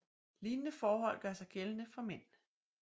Lignende forhold gør sig gældende for mænd